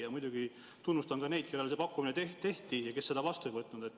Ja muidugi ma tunnustan ka neid, kellele see pakkumine tehti ja kes seda vastu ei võtnud.